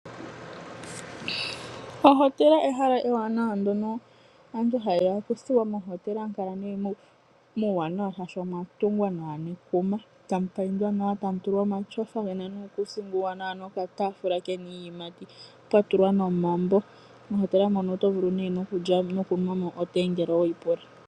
Ohotela ehala ewanawa ndono aantu ha yeya okuthuwa. Mohotela ohamu kala nee muuwanawa molwashoka omwa tungwa nawa nekuma , tamu paindwa nawa, tamu tulwa omatyofa gena nuukuusinga uuwanawa nokatafula kena iiyimati pwa tulwa nomambo. Mohotela mono oto vulu nee nokunwa mo otee ngele oweyi pula.